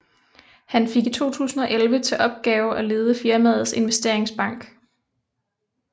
Han fik i 2011 til opgave at lede firmaets investeringsbank